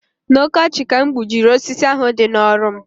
N'ọkọchị ka m gbujiri osisi ahu dị n'ọrụ m